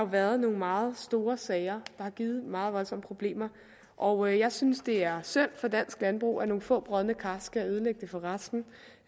været nogle meget store sager der har givet meget voldsomme problemer og jeg synes det er synd for dansk landbrug at nogle få brodne kar skal ødelægge det for resten og